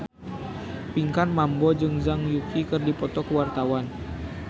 Pinkan Mambo jeung Zhang Yuqi keur dipoto ku wartawan